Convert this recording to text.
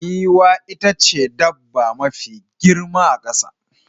Giwa ita ce dabba mafi girma a kasa.